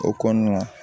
O kɔnɔna